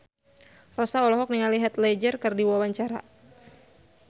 Rossa olohok ningali Heath Ledger keur diwawancara